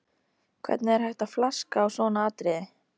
Hvernig er hægt að flaska á svona atriði?